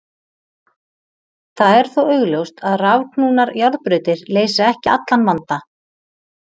Það er þó augljóst, að rafknúnar járnbrautir leysa ekki allan vanda.